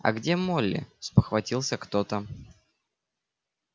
а где молли спохватился кто-то